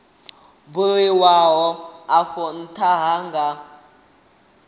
buliwaho afho ntha a nga